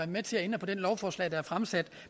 med til at ændre på det lovforslag der er fremsat